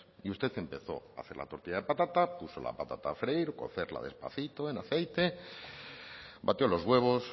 y usted empezó a hacer la tortilla de patata puso la patata a freír cocerla despacito en aceite batió los huevos